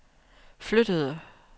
flyttede